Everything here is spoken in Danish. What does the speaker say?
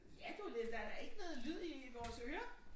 Ja du det der da ikke noget lyd i vores ører